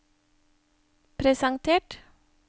presentert